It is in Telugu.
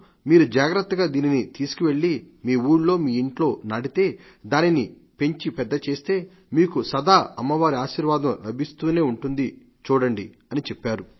మీరు జాగ్రత్తగా దీనిని తీసుకువెళ్లి మీ ఉళ్లో మీ ఇంట్లో నాటితే దానిని పెంచి పెద్దచేస్తే మీకు సదా అమ్మవారి ఆశీర్వాదం లభిస్తూనే ఉంటుంది చూడండి అని చెప్పారు